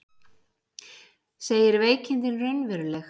Segir veikindin raunveruleg